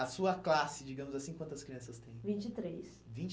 A sua classe, digamos assim, quantas crianças tem? Vinte e três. Vinte e